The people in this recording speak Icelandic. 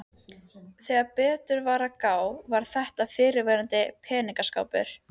Þegar betur var að gáð var þetta fyrrverandi peningaskápur.